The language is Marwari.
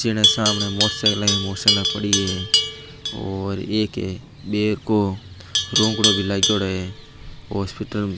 जीने सामने मोटरसाईकला ही मोटरसाइकिला पड़ी है और एक --